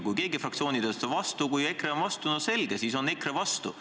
Kui keegi fraktsioonidest on vastu, kui EKRE on vastu, no selge, siis on EKRE vastu.